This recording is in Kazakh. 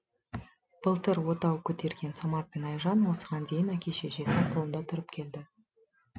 былтыр отау көтерген самат пен айжан осыған дейін әке шешесінің қолында тұрып келді